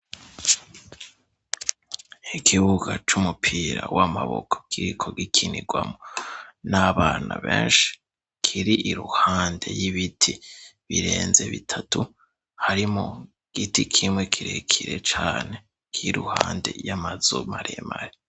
Ikibuga c'umupira w'amaboko kiriko gikinirwamo n'abana benshi. Kir'iruhande y'ibiti birenze bitatu, harimwo igiti kimwe kirekire cane iruhande y'amazu maremare.